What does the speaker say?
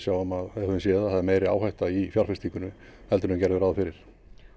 séð að það er meiri áhætta í fjárfestingunni heldur en við gerðum ráð fyrir